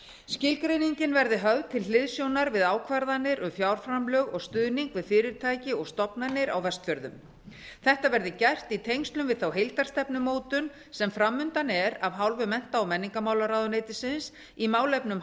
skilgreiningin verði höfð til hliðsjónar við ákvarðanir um fjárframlög og stuðning við fyrirtæki og stofnanir á vestfjörðum þetta verði gert í tengslum við þá heildarstefnumótun sem fram undan er af hálfu mennta og menningarmálaráðuneytisins í málefnum